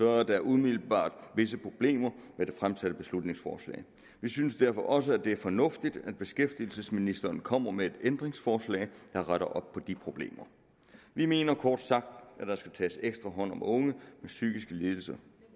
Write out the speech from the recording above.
er der umiddelbart visse problemer med det fremsatte beslutningsforslag vi synes derfor også at det er fornuftigt at beskæftigelsesministeren kommer med et ændringsforslag der retter op på de problemer vi mener kort sagt at der skal tages ekstra hånd om unge med psykiske lidelser